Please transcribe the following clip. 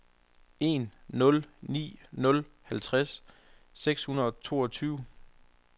en nul ni nul halvfjerds seks hundrede og toogtyve